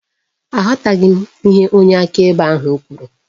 Aghọtaghị m ihe onye akaebe ahụ kwuru